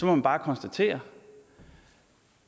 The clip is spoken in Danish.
man bare konstatere